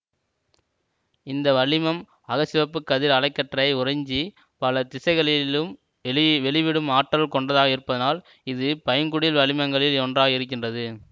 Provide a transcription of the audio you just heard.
இந்த வளிமம் அகச்சிவப்பு கதிர் அலைக்கற்றையை உறிஞ்சி பல திசைகளிலும் வெளி வெளிவிடும் ஆற்றல் கொண்டதாக இருப்பதனால் இது பைங்குடில் வளிமங்களில் ஒன்றாக இருக்கின்றது